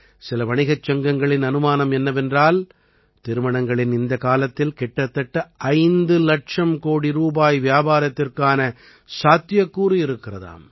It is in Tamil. சில வணிகச் சங்கங்களின் அனுமானம் என்னவென்றால் திருமணங்களின் இந்தக் காலத்தில் கிட்டத்தட்ட 5 இலட்சம் கோடி ரூபாய் வியாபாரத்திற்கான சாத்தியக்கூறு இருக்கிறதாம்